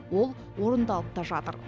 ол орындалып та жатыр